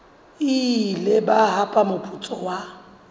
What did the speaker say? ile ba hapa moputso wa